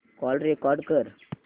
call record कर